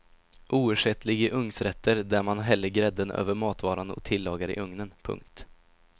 Oersättlig i ugnsrätter där man häller grädden över matvaran och tillagar i ugnen. punkt